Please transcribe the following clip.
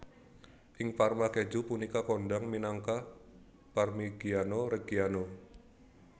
Ing Parma keju punika kondhang minangka Parmigiano Reggiano